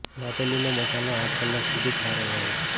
દાબેલીનો મસાલો આઠ કલાક સુધી જ સારો રહે છે